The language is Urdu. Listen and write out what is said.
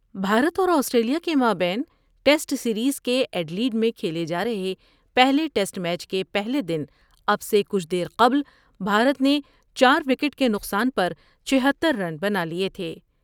بھارت اور آسٹریلیاء کے مابین ٹیسٹ سیریز کے ایڈیلیڈ میں کھیلے جارہے پہلے ٹیسٹ میچ کے پہلے دن اب سے کچھ دیر قبل بھارت نے چار وکٹ کے نقصان پر چھہتر رن بنالیے تھے ۔